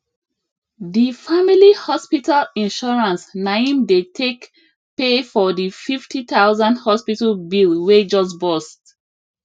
the family hospital insurance na im dey take pay for the 50000 hospital bill wey just burst